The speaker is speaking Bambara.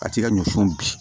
A ti ka ɲɔ funu bi